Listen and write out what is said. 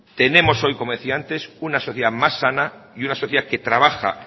tenemos hoy como decía antes una sociedad más sana y una sociedad que trabaja